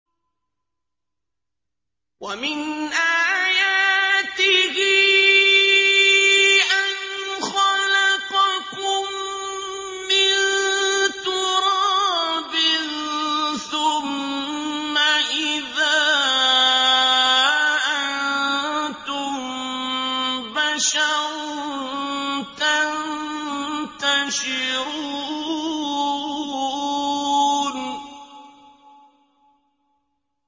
وَمِنْ آيَاتِهِ أَنْ خَلَقَكُم مِّن تُرَابٍ ثُمَّ إِذَا أَنتُم بَشَرٌ تَنتَشِرُونَ